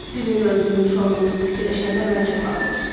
Sizin də öldürülmüş olduğunuzu fikirləşəndə mənə çox ağır oldu.